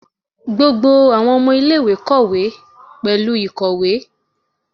Gbogbo awọn ọmọ ile-iwe kọ pẹlu ikowe.